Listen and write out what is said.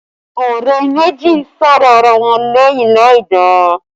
Ọ̀rẹ́ méjì ń sọ̀rọ̀ ara wọn lẹ́yìn láìda